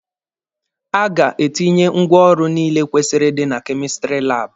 A ga-etinye ngwaọrụ niile kwesịrị ịdị na kemistiri laabụ.